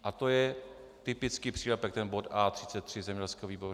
A to je typický přílepek - bod A33 zemědělského výboru.